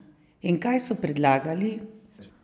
In kaj so predlagali?